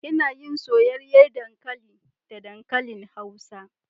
Ina yin soyayyar dankali da dankali hausa